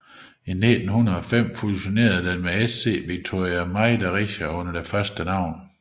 I 1905 fusionerede den med SC Viktoria Meidericher under det førstnævnte navn